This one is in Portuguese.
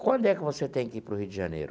Quando é que você tem que ir para o Rio de Janeiro?